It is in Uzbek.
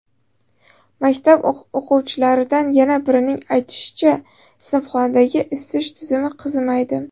Maktab o‘quvchilaridan yana birining aytishicha, sinfxonadagi isitish tizimi qizimaydi.